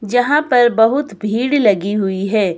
जहां पर बहुत भीड़ लगी हुई है।